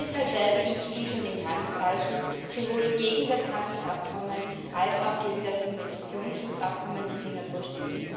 Deshalb werde ich wie schon im Handelsausschuss sowohl gegen das Handelsabkommen als auch gegen das Investitionsschutzabkommen mit Singapur stimmen.